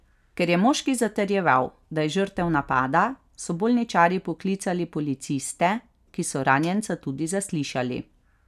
Ker je moški zatrjeval, da je žrtev napada, so bolničarji poklicali policiste, ki so ranjenca tudi zaslišali.